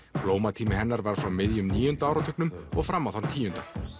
blómatími hennar var frá miðjum níunda áratugnum og fram á þann tíu